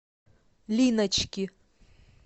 линочки